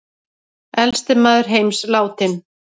Elsti maður heims látinn